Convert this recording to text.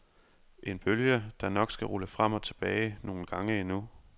En bølge, der nok skal rulle frem og tilbage nogle gange endnu.